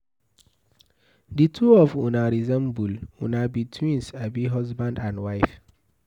The two of una resemble, Una be twins abi husband and wife?